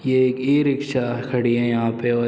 यह एक ई-रिक्शा खड़ी है यहाँ पे औ --